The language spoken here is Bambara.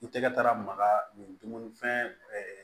I tɛgɛ taara maga nin dumuni fɛn